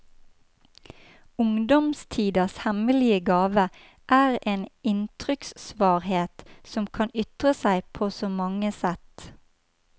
Ungdomstidas hemmelige gave er en inntrykksvarhet som kan ytre seg på så mange sett.